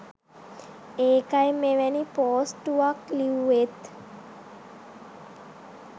ඒකයි මෙවැනි පෝස්ටුවක් ලිව්වෙත්